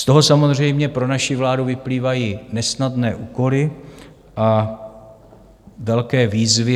Z toho samozřejmě pro naši vládu vyplývají nesnadné úkoly a velké výzvy.